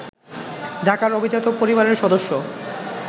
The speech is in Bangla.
ঢাকার অভিজাত পরিবারের সদস্য